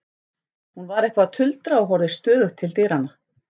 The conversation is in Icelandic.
Hún var eitthvað að tuldra og horfði stöðugt til dyranna.